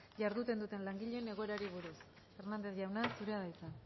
jarduten duten langileen egoerari buruz hernández jauna zurea da hitza